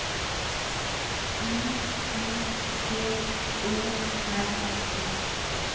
I M P O R T